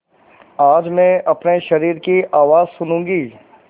आज मैं अपने शरीर की आवाज़ सुनूँगी